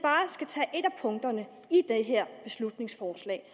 punkterne i det her beslutningsforslag